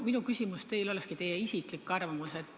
Minu küsimus teile olekski teie isikliku arvamuse kohta.